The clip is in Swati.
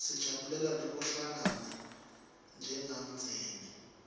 sijabulela nekuhlangana njengemndzeni